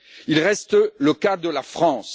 Il reste le cas de la France.